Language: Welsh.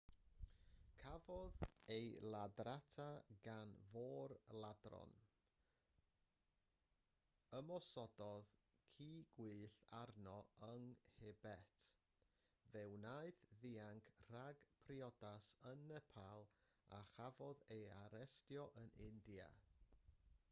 cafodd ei ladrata gan fôr-ladron ymosododd ci gwyllt arno yn nhibet fe wnaeth ddianc rhag priodas yn nepal a chafodd ei arestio yn india